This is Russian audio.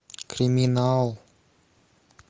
криминал